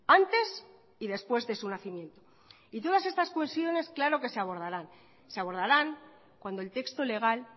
antes y después de su nacimiento y todas estas cuestiones claro que se abordarán se abordarán cuando el texto legal